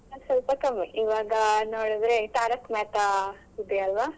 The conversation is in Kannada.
ನಾನ್ ಸ್ವಲ್ಪ ಕಮ್ಮಿ ಇವಾಗ್ ನೋಡಿದ್ರೆ तारक मेहता ಇದೆಯಲ್ವಾ.